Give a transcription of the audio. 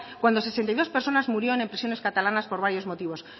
cuando sesenta y dos personas murieron en prisiones catalanes por varios motivos